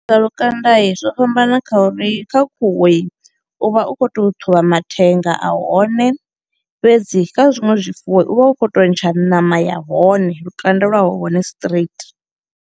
U bvisa lukandai zwo fhambana kha uri kha khuhui u vha u kho to ṱhuvha mathenga a hone, fhedzi kha zwiṅwe zwifuwo u vha u kho to ntsha ṋama ya hone lukanda lwa hone straight.